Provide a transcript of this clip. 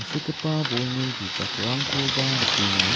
bolni bijakrangkoba nikenga.